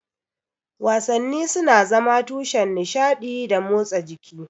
Wasanni suna zama tushen nishaɗi da motsa jiki.